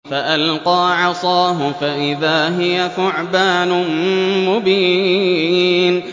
فَأَلْقَىٰ عَصَاهُ فَإِذَا هِيَ ثُعْبَانٌ مُّبِينٌ